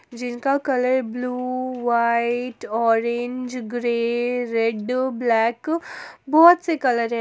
जिनका colour blue white orange grey red black बहोत से कलर है।